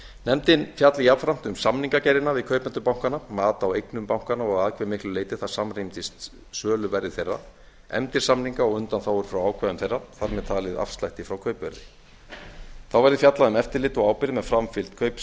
nefndin fjalli jafnframt um samningagerðina við kaupendur bankanna mat á eignum bankanna og að hve miklu leyti það samrýmdist söluverði þeirra efndir samninga og undanþágur frá ákvæðum þeirra þar með talið afslætti frá kaupverði þá verði fjallað um eftirlit og ábyrgð með framfylgd